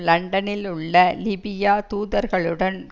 லண்டனில் உள்ள லிபியா தூதர்களுடன்